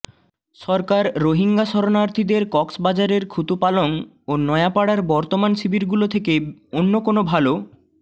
সরকার রোহিঙ্গা শরণার্থীদের কক্সবাজারের খুতুপালং ও নয়াপাড়ার বর্তমান শিবিরগুলো থেকে অন্য কোনো ভালো